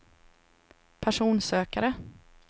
personsökare